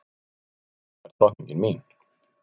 Mamma er drottningin mín.